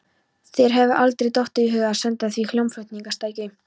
Þér hefur aldrei dottið í hug að senda því hljómflutningstæki?